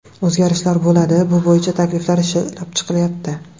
O‘zgarishlar bo‘ladi, bu bo‘yicha takliflar ishlab chiqilyapti.